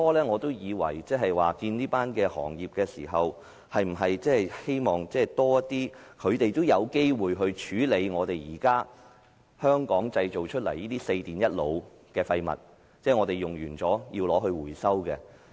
我會見業界，是想知道他們是否希望能有多些機會處理香港現時製造出來的"四電一腦"的廢物，即我們用完後，他們回收。